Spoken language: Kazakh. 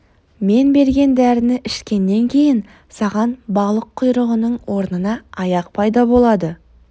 мен берген дәріні ішкеннен кейін саған балық құйрығының орнына аяқ пайда болады